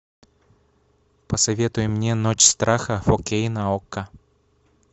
посоветуй мне ночь страха фо кей на окко